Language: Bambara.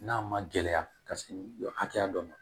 N'a ma gɛlɛya ka se hakɛya dɔ ma